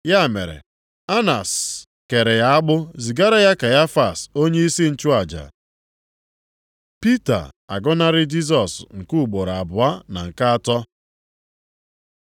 Ya mere, Anas kere ya agbụ zigara ya Kaịfas onyeisi nchụaja. Pita agọnarị Jisọs nke ugboro abụọ na nke atọ